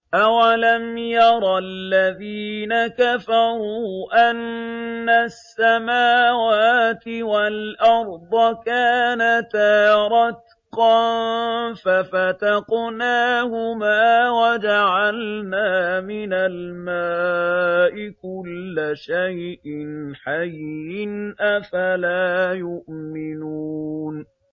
أَوَلَمْ يَرَ الَّذِينَ كَفَرُوا أَنَّ السَّمَاوَاتِ وَالْأَرْضَ كَانَتَا رَتْقًا فَفَتَقْنَاهُمَا ۖ وَجَعَلْنَا مِنَ الْمَاءِ كُلَّ شَيْءٍ حَيٍّ ۖ أَفَلَا يُؤْمِنُونَ